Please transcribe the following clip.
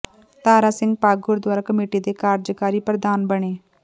ਤਾਰਾ Singh Pak Gurdwara committee ਦੇ ਕਾਰਜਕਾਰੀ ਪ੍ਰਧਾਨ ਬਣੇ